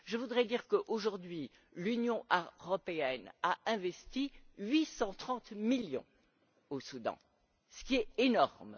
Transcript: Je voudrais dire que, aujourd'hui, l'Union européenne a investi 830 millions au Soudan du Sud, ce qui est énorme.